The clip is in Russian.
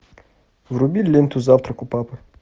вруби ленту завтрак у папы